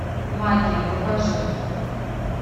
магия покажи